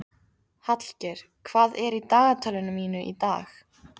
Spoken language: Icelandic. Hallgeir, hvað er í dagatalinu mínu í dag?